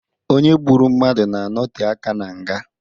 Onye gburu mmadụ na-anote aka na nga.